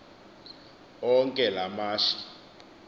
onke la mashi